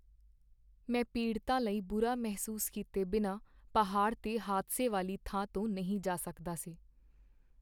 ਮੈਂ ਪੀੜਤਾਂ ਲਈ ਬੁਰਾ ਮਹਿਸੂਸ ਕੀਤੇ ਬਿਨਾਂ ਪਹਾੜ 'ਤੇ ਹਾਦਸੇ ਵਾਲੀ ਥਾਂ ਤੋਂ ਨਹੀਂ ਜਾ ਸਕਦਾ ਸੀ।